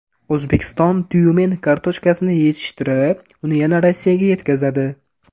O‘zbekiston Tyumen kartoshkasini yetishtirib, uni yana Rossiyaga yetkazadi.